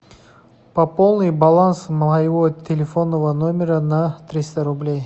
пополни баланс моего телефонного номера на триста рублей